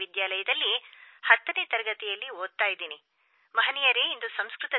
ಪ್ರಧಾನಮಂತ್ರಿಗಳೇ ನಮಸ್ಕಾರ ನಾನು ಚಿನ್ಮಯಿ ಬೆಂಗಳೂರು ನಗರದ ವಿಜಯಭಾರತಿ ವಿದ್ಯಾಲಯದಲ್ಲಿ 10 ನೇ ತರಗತಿಯಲ್ಲಿ ಓದುತ್ತಿದ್ದೇನೆ